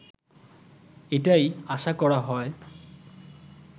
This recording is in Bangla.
এটাই আশা করা হয়